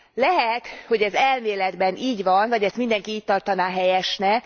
Lehet, hogy ez elméletben így van, vagy ezt mindenki így tartaná helyesnek.